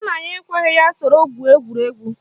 Nna ya ekweghi ya soro gwuo egwuregwu